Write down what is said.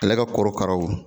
Ale ka korokaraw